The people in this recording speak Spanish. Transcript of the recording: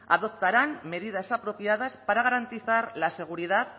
adoptarán medidas apropiadas para garantizar la seguridad